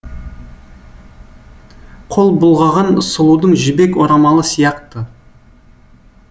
қол бұлғаған сұлудың жібек орамалы сияқты